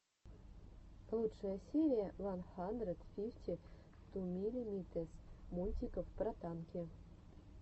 лучшая серия ван хандрэд фифти ту миллимитэс мультиков про танки